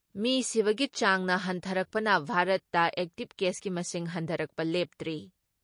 ꯃꯤ ꯁꯤꯕꯒꯤ ꯆꯥꯡꯅ ꯍꯟꯊꯔꯛꯄꯅ ꯚꯥꯔꯠꯇ ꯑꯦꯛꯇꯤꯞ ꯀꯦꯁꯀꯤ ꯃꯁꯤꯡ ꯍꯟꯊꯔꯛꯄ ꯂꯦꯞꯇ꯭ꯔꯤ ꯫